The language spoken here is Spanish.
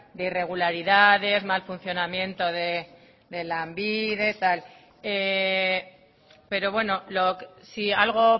de irregularidades mal funcionamiento de lanbide tal pero bueno si algo